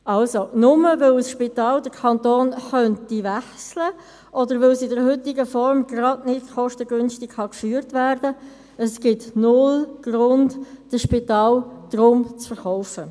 Nur weil das Spital den Kanton wechseln könnte oder weil es in der heutigen Form gerade nicht kostengünstig geführt werden kann, gibt es keinen Grund, dieses zu verkaufen.